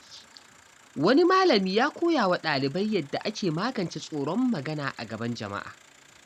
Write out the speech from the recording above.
Wani malami ya koya wa dalibai yadda ake magance tsoron magana a gaban jama’a.